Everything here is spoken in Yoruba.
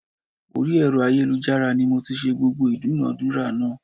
Orí ẹ̀rọ ayélujára ni mo ti ṣẹ́ gbogbo ìdúnadúrà náà